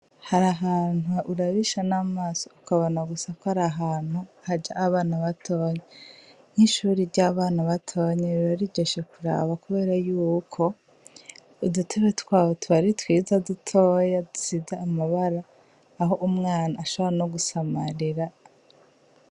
Har’ahantu urabisha amaso gusa, ukabona gusa ko ar’ahantu haja abana batoyi. Nk'ishure ry'abana batoyi riba riryoshe kuraba kubera yuko udutebe twaho tuba ari twiza, dutoyi dusize amabara, aho umwana ashobora no gusamarira.